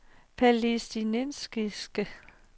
palæstinensiske